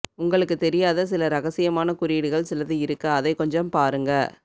உங்களுக்கு தெரியாதா சில இரகசியமான குறியீடுகள் சிலது இருக்கு அதை கொஞ்சம் பாருங்க